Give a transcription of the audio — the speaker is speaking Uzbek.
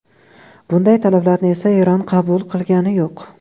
Bunday talablarni esa Eron qabul qilgani yo‘q.